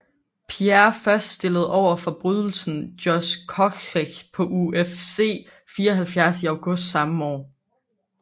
Pierre først stillet overfor bryderen Josh Koscheck på UFC 74 i august samme år